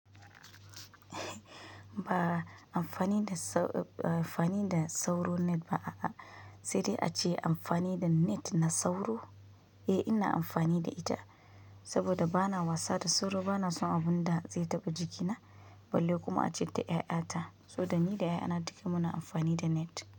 Ba amfani da sau ba amfani da sauro net ba a, a sai dai ace amfani da net na sauro. Eh, ina amfani da ita saboda ba na wasa da sauro, ba na son abun da zai taɓa jikina balle kuma a ce da ƴaƴa ta. So dan ni da ƴaƴa duka muna amfani da net.